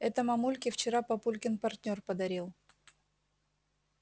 это мамульке вчера папулькин партнёр подарил